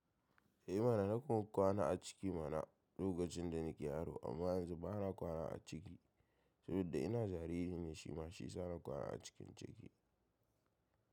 Eh mana na kuma kwana a ciki mana lokacin da nake yaro amma yanzu bana kwana a ciki saboda ina jariri ne shi ma shi ya sa na kwana a cikin ciki.